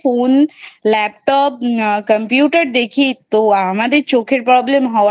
Phone , Laptop , Computer দেখি তো আমাদের চোখের Problem হওয়াটাই